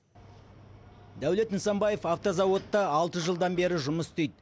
дәулет нысанбаев автозауытта алты жылдан бері жұмыс істейді